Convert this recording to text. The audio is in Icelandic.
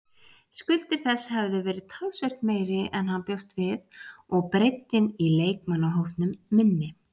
Skuldir þess hefðu verið talsvert meiri en hann bjóst við og breiddin í leikmannahópnum minni.